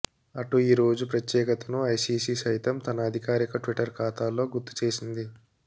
అటు ఈ రోజు ప్రత్యేకతను ఐసీసీ సైతం తన అధికారిక ట్విట్టర్ ఖాతాలో గుర్తుచేసింది